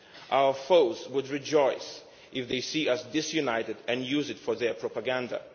Our foes would rejoice if they saw us disunited and would use it for their propaganda.